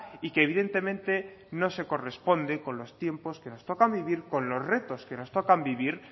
y que evidentemente no se corresponde con los tiempos que nos tocan vivir con los retos que nos tocan vivir